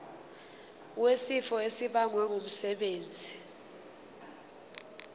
wesifo esibagwe ngumsebenzi